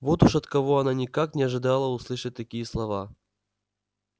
вот уж от кого она никак не ожидала услышать такие слова